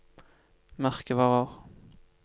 merkevarer